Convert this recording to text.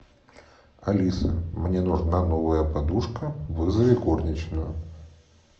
алиса мне нужна новая подушка вызови горничную